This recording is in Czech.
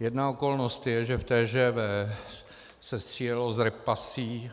Jedna okolnost je, že v TGV se střílelo z repasí